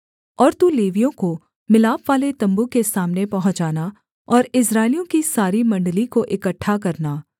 और तू लेवियों को मिलापवाले तम्बू के सामने पहुँचाना और इस्राएलियों की सारी मण्डली को इकट्ठा करना